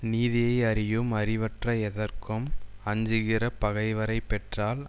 நீதியை அறியும் அறிவற்ற எதற்கும் அஞ்சுகிற பகைவரை பெற்றால்